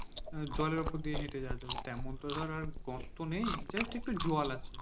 জলের উপর হেঁটে যাওয়া যাবে তেমন তো ধর তো গর্ত নেই just একটু জল আছে.